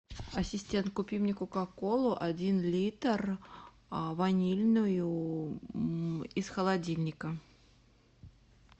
ассистент купи мне кока колу один литр ванильную из холодильника